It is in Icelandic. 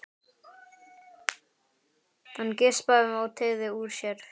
Hann geispaði og teygði úr sér.